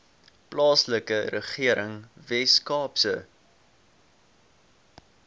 plaaslike regering weskaapse